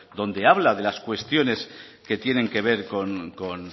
donde habla de las cuestiones que tienen que ver